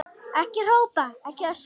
Ekki hrópa, ekki öskra!